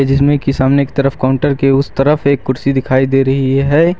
जिसमे की सामने की तरफ काउंटर के उस तरफ एक कुर्सी दिखाई दे रही है।